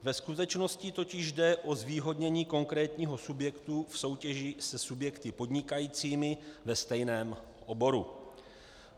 Ve skutečnosti totiž jde o zvýhodnění konkrétního subjektu v soutěži se subjekty podnikajícími ve stejném oboru.